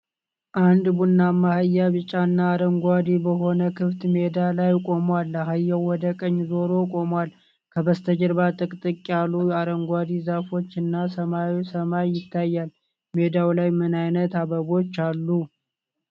አንድ ቡናማ አህያ ቢጫና አረንጓዴ በሆነ ክፍት ሜዳ ላይ ቆሟል። አህያው ወደ ቀኝ ዞሮ ቆሟል። ከበስተጀርባ ጥቅጥቅ ያሉ አረንጓዴ ዛፎች እና ሰማያዊ ሰማይ ይታያል። ሜዳው ላይ ምን አይነት አበቦች አሉ?